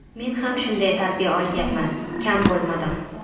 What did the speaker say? Men ham shunday tarbiya olganman, kam bo‘lmadim.